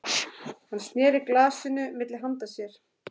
Hann sneri glasinu milli handa sér.